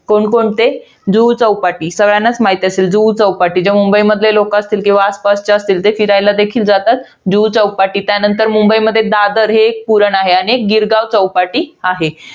कोणकोणते? जुहू चौपाटी. सगळ्यांनाच माहित असेल जुहू चौपाटी. जे मुंबई मधले लोकं असतील, किंवा आसपासचे असतील. ते फिरयला देखील जातात. जुहू चौपाटी. त्यानंतर मुंबईमध्ये दादर हे एक पुळण आहे. आणि एक गिरगाव चौपाटी आहे.